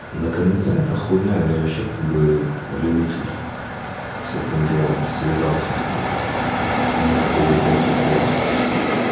наконец а это хуйня её вообще как бы любитель с этим делом связаться как бы мне хуй опять в ответ